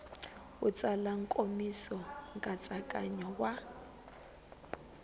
u tsala nkomiso nkatsakanyo wa